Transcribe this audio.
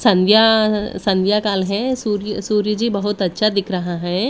संध्या- संध्या काल है सूर्य- सूर्य जी बहुत अच्छा दिख रहा है।